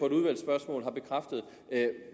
et udvalgsspørgsmål har bekræftet